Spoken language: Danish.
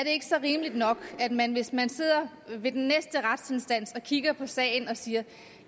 rimeligt nok at man hvis man sidder ved den næste retsinstans og kigger på sagen og siger